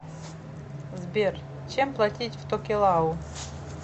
сбер чем платить в токелау